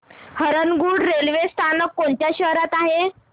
Harangul railway स्थानक कोणत्या शहरात आहे